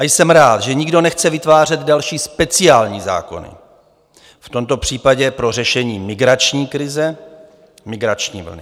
A jsem rád, že nikdo nechce vytvářet další speciální zákony, v tomto případě pro řešení migrační krize, migrační vlny.